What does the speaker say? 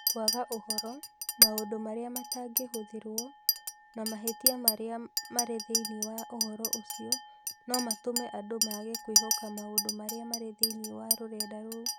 Kwaga ũhoro, maũndũ marĩa matangĩhũthĩrũo na mahĩtia marĩa marĩ thĩinĩ wa ũhoro ũcio no matũme andũ maage kwĩhoka maũndũ marĩa marĩ thĩinĩ wa rũrenda rou.